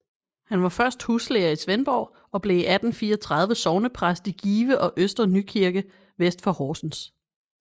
Han var først huslærer i Svendborg og blev i 1834 sognepræst i Give og Øster Nykirke vest for Horsens